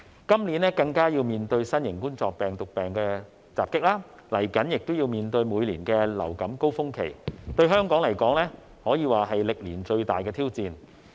今年更要面對新型冠狀病毒病來襲，即將亦要面對每年的流感高峰期，對香港來說可算是歷年最大的挑戰。